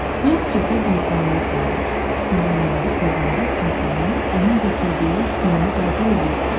Yəsribdən insanlar gəlir, Məhəmmədi peyğəmbər kimi tanıyıb, onun gətirdiyi dini qəbul eləyirdilər.